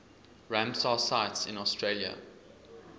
ramsar sites in australia